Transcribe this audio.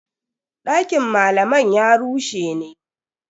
Dakin malaman ya rushe ne.